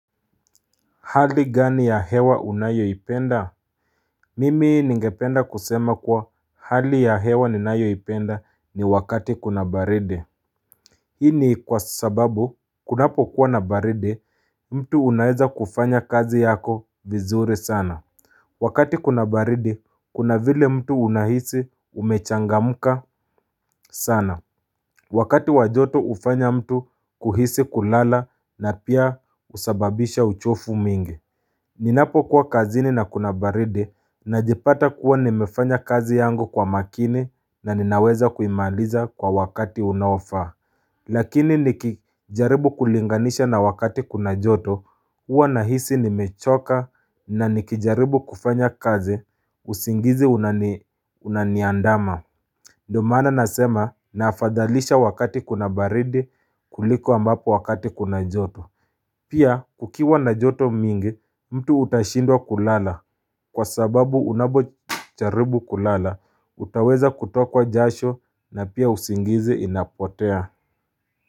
Hali gani ya hewa unayoipenda? Mimi ningependa kusema kwa hali ya hewa ni nayoipenda ni wakati kuna baridi. Hii ni kwa sababu, kunapo kuwa na baridi, mtu unaeza kufanya kazi yako vizuri sana. Wakati kuna baridi, kuna vile mtu unahisi umechangamka sana. Wakati wajoto ufanya mtu kuhisi kulala na pia usababisha uchofu mingi. Ninapo kuwa kazini na kuna baridi na jipata kuwa nimefanya kazi yangu kwa makini na ninaweza kuimaliza kwa wakati unaofaa Lakini nikijaribu kulinganisha na wakati kuna joto uwa na hisi nimechoka na nikijaribu kufanya kazi usingizi unaniandama ndomana nasema na afadhalisha wakati kuna baridi kuliko ambapo wakati kuna joto Pia kukiwa na joto mingi mtu utashindwa kulala kwa sababu unapocharibu kulala utaweza kutokwa jasho na pia usingizi inapotea.